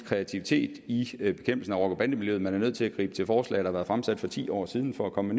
kreativitet i bekæmpelsen af rocker bande miljøet at man er nødt til at gribe til forslag der har været fremsat for ti år siden for at komme